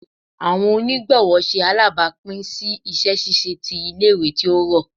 Awọn onigbọwọ ṣe alabapin si iṣẹ ṣiṣe ti ile-iwe ti o rọ